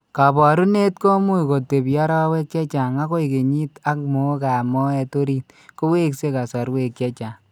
Kaabarunet ko much kotepiarowek chechang' akoi kenyit ak mookap moet orit kowekse kasarwek chechang'.